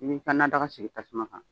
I b'i ka nadaga sigi tasuma kan